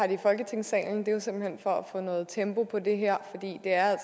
i folketingssalen det er simpelt hen for at få noget tempo på det her for det er